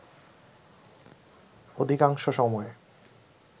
অধিকাংশ সময়